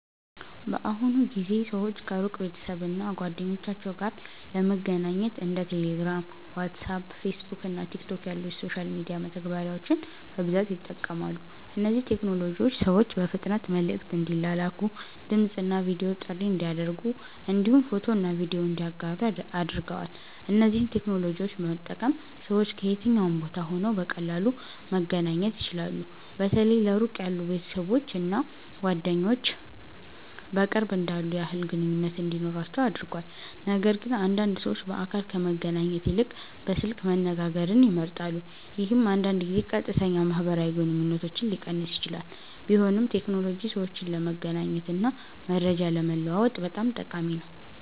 በአሁኑ ጊዜ ሰዎች ከሩቅ ቤተሰብ እና ጓደኞቻቸው ጋር ለመገናኘት እንደ ቴሌግራም፣ ዋትስአፕ፣ ፌስቡክ እና ቲክቶክ ያሉ የሶሻል ሚዲያ መተግበሪያዎችን በብዛት ይጠቀማሉ። እነዚህ ቴክኖሎጂዎች ሰዎች በፍጥነት መልዕክት እንዲላላኩ፣ ድምፅ እና ቪዲዮ ጥሪ እንዲያደርጉ እንዲሁም ፎቶና ቪዲዮ እንዲያጋሩ አድርገዋል። እነዚህን ቴክኖሎጂዎች በመጠቀም ሰዎች ከየትኛውም ቦታ ሆነው በቀላሉ መገናኘት ይችላሉ። በተለይ ለሩቅ ያሉ ቤተሰቦች እና ጓደኞች በቅርብ እንዳሉ ያህል ግንኙነት እንዲኖራቸው አድርጓል። ነገርግን አንዳንድ ሰዎች በአካል ከመገናኘት ይልቅ በስልክ መነጋገርን ይመርጣሉ፣ ይህም አንዳንድ ጊዜ ቀጥተኛ ማህበራዊ ግንኙነትን ሊቀንስ ይችላል። ቢሆንም ቴክኖሎጂ ሰዎችን ለመገናኘት እና መረጃ ለመለዋወጥ በጣም ጠቃሚ ነው።